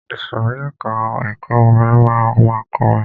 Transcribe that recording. Ìsòrí ẹka ẹ̀kọ́ orin máa ma kọrin.